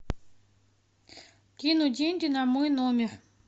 кинуть деньги на мой номер